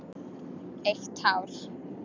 Eitt hár.